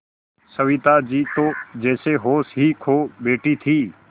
सविता जी तो जैसे होश ही खो बैठी थीं